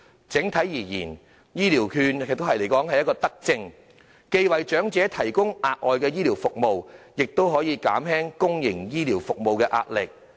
整體而言，醫療券是一項德政，既為長者提供額外的醫療服務，亦可減輕公營醫療服務的壓力。